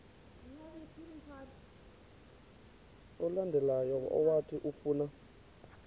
olandelayo owathi ufuna